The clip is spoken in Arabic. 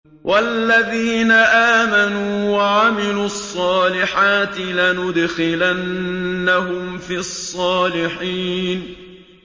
وَالَّذِينَ آمَنُوا وَعَمِلُوا الصَّالِحَاتِ لَنُدْخِلَنَّهُمْ فِي الصَّالِحِينَ